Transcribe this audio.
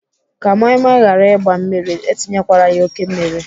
Ka moi moi ghara ịgba mmiri, etinyekwala ya oké mmiri.